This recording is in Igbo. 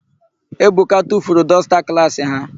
Ebuka tufuru dọsta klaasị ha.